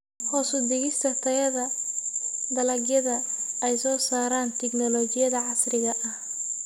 Hoos u dhigista tayada dalagyada ay soo saaraan tignoolajiyada casriga ah.